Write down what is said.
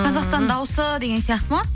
ыыы қазақстан дауысы деген сияқты ма